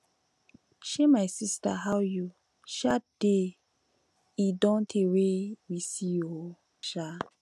um my sister how you um dey e don tey wey we see oo um